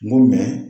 N go